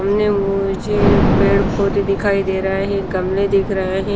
सामने मुझे पेड़ पौधे दिखाई दे रहा है गमले दिख रहा है।